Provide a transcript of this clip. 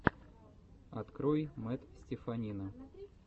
открой мэтт стеффанина